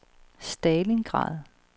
Stalingrad